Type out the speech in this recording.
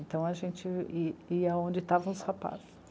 Então a gente ia onde estavam os rapazes.